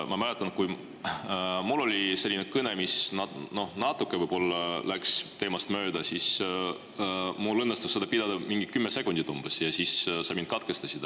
Ma mäletan, kui mul oli selline kõne, mis natuke võib-olla läks teemast mööda, siis mul õnnestus seda pidada mingi 10 sekundit, kuni sa mind katkestasid.